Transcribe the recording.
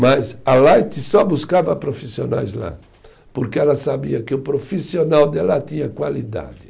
Mas a Light só buscava profissionais lá, porque ela sabia que o profissional dela tinha qualidade.